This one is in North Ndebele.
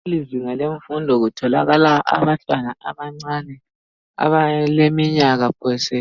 Kulezinga lemfundo kutholakala abantwana abancane abaleminyaka phose